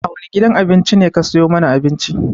A wane gidan abinci ne ka sayo mana abincin?